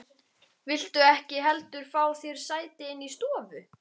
Viltu ekki heldur fá þér sæti inni í stofu?